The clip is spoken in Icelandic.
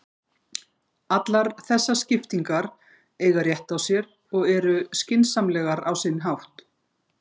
Allar þessar skiptingar eiga rétt á sér og eru skynsamlegar á sinn hátt.